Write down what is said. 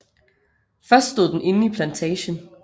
Først stod den inde i plantagen